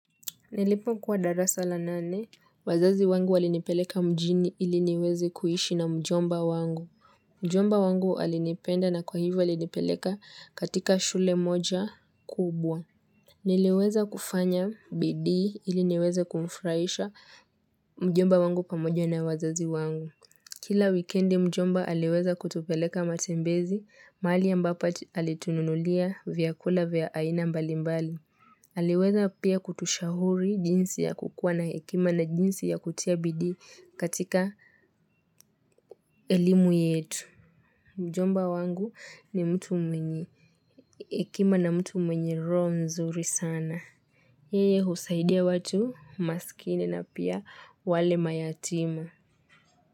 Nilipokuwa darasa la nane, wazazi wangu walinipeleka mjini ili niweze kuishi na mjomba wangu. Mjomba wangu alinipenda na kwa hivyo alinipeleka katika shule moja kubwa. Niliweza kufanya bidii ili niweze kumfurahisha mjomba wangu, pamoja na wazazi wangu. Kila wikendi mjomba aliweza kutupeleka matembezi, mahali ambapo alitununulia vyakula vya aina mbalimbali. Aliweza pia kutushauri jinsi ya kukuwa na hekima na jinsi ya kutia bidii katika elimu yetu. Mjomba wangu ni mtu mwenye hekima na mtu mwenye roho nzuri sana. Yeye husaidia watu masikini na pia wale mayatima.